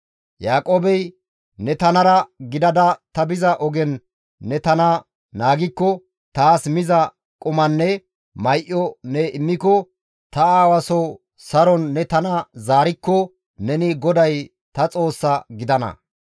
Yaaqoobey, «Ne tanara gidada ta biza ogen ne tana naagikko taas miza qumanne may7o ne immiko ta aawa soo saron ne tana zaarikko neni GODAY ta Xoossa gidana.